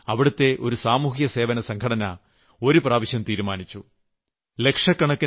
എന്ന് പറയാനും അവിടുത്തെ ഒരു സാമൂഹ്യസേവനസംഘടന ഒരു പ്രാവശ്യം തീരുമാനിച്ചു